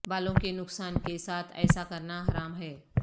بالوں کے نقصان کے ساتھ ایسا کرنا حرام ہے